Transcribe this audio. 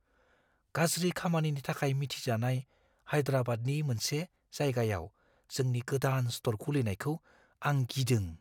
गाज्रि खामानिनि थाखाय मिथिजानाय हाइद्राबादनि मोनसे जायगायाव जोंनि गोदान स्ट'र खुलिनायखौ आं गिदों।